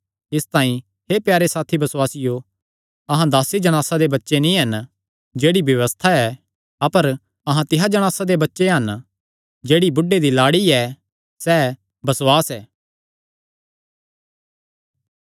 इसतांई हे प्यारे साथी बसुआसियो अहां दासी जणासा दे बच्चे नीं हन जेह्ड़ी व्यबस्था ऐ अपर अहां तिसा जणासा दे बच्चे हन जेह्ड़ी बुढ़े दी लाड़ी ऐ सैह़ बसुआस ऐ